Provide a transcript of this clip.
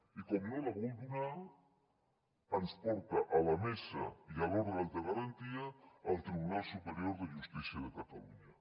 i com no la vol donar ens porta a la mesa i a l’òrgan de garantia al tribunal superior de justícia de catalunya